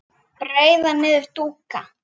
breiða niður dúka